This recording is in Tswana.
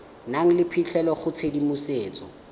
nang le phitlhelelo go tshedimosetso